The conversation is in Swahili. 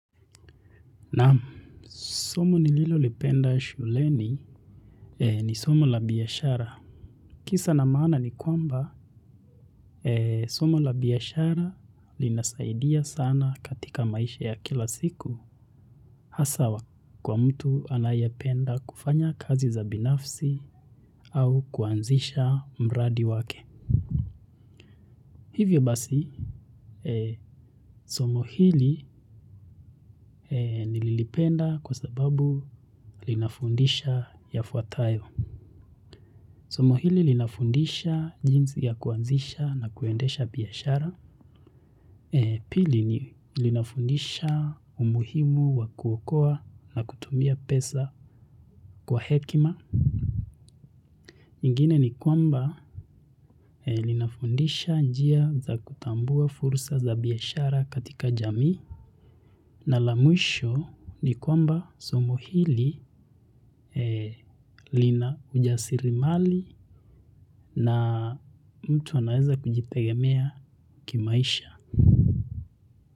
Naam, somo nililolipenda shuleni ni somo la biashara. Kisa na maana ni kwamba, somo la biashara linasaidia sana katika maisha ya kila siku asa kwa mtu anayapenda kufanya kazi za binafsi au kuanzisha mradi wake. Hivyo basi, somo hili nilipenda kwa sababu linafundisha yafuatayo. Somohili linafundisha jinsi ya kuanzisha na kuendesha biashara. Pili ni linafundisha umuhimu wa kuokoa na kutumia pesa kwa hekima. Ingine ni kwamba linafundisha njia za kutambua fursa za biashara katika jamii. Na la mwisho ni kwamba somo hili lina ujasiri mali na mtu anaweza kujitegemea kimaisha.